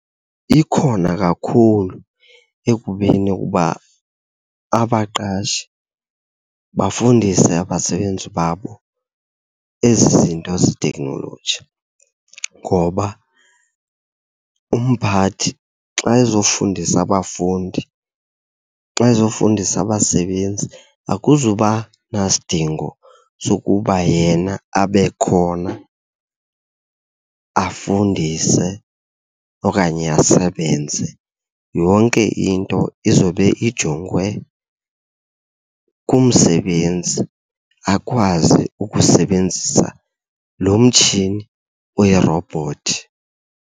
Ikhona kakhulu, ekubeni uba abaqashi bafundise abasebenzi babo ezi zinto zeteknoloji. Ngoba umphathi xa ezofundisa abafundi, xa ezofundisa abasebenzi akuzuba nasidingo sokuba yena abe khona afundise okanye asebenze. Yonke into izobe ijongwe ngumsebenzi akwazi ukusebenzisa lo mtshini uyirobhothi.